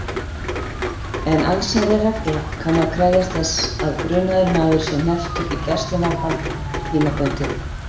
En allsherjarregla kann að krefjast þess að grunaður maður sé hnepptur í gæsluvarðhald tímabundið.